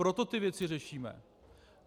Proto ty věci řešíme.